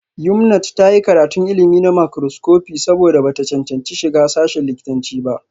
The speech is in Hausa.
Yumnat ta yi karatun ilimi na makroscopi saboda ba ta cancanci shiga sashin likitanci ba